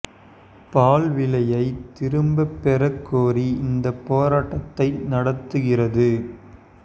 பால் விலையை திரும்பப் பெறக் கோரி இந்தப் போராட்டத்தை நடத்துகிறது